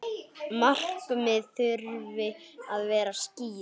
Markmið þurfi að vera skýr.